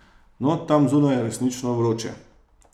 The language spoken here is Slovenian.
No, tam zunaj je resnično vroče.